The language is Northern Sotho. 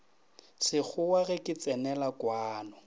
sekgowa ge ke tsenela kwano